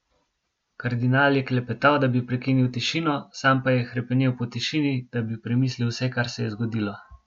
Kardinal je klepetal, da bi prekinil tišino, sam pa je hrepenel po tišini, da bi premislil vse, kar se je zgodilo.